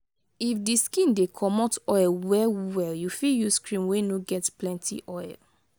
if di skin dey comot oil well well you fit use cream wey no get plenty oil